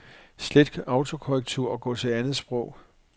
Slet autokorrektur og gå til andet sprog.